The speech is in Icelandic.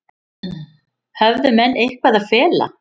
Höfðu menn eitthvað að fela?